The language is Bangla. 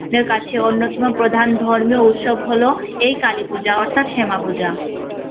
দের কাছে অন্যতম প্রধান ধর্মীয় উৎসব হলো এই কালীপূজা অর্থাৎ হেমা পূজা।